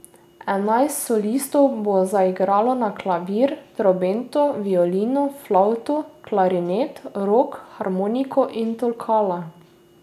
Enajst solistov bo zaigralo na klavir, trobento, violino, flavto, klarinet, rog, harmoniko, in tolkala.